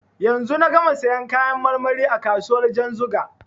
Yanzu na gama siyan kayan marmari a kasuwar Janzuga.